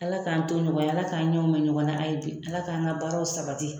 Ala k'an to ɲɔgɔn ye ala k'an ɲɛw mɛ ɲɔgɔn na a ye bi ala k'an ka baaraw sabati